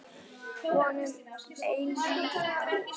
Von um eilíft líf.